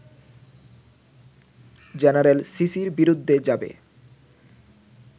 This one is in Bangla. জেনারেল সিসির বিরুদ্ধে যাবে